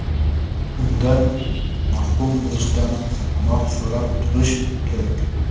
undan mahrum bo‘lishdan panoh so‘rab turish kerak.